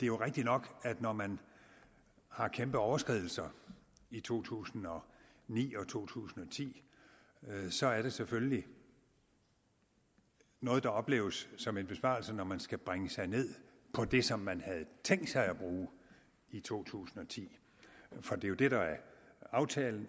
jo rigtig nok at når man har kæmpe overskridelser i to tusind og ni og to tusind og ti så er det selvfølgelig noget der opleves som en besparelse når man skal bringe sig ned på det som man havde tænkt sig at bruge i to tusind og ti for det er jo det der er aftalen